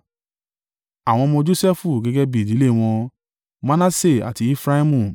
Àwọn ọmọ Josẹfu gẹ́gẹ́ bí ìdílé wọn; Manase àti Efraimu.